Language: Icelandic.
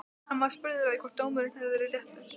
Hann var spurður að því hvort dómurinn hafi verið réttur?